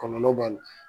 Kɔlɔlɔ b'a la